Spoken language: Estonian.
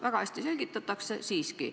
Väga hästi selgitatakse, aga siiski.